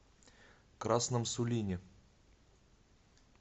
красном сулине